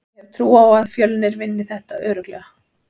Ég hef trú á að Fjölnir vinni þetta örugglega.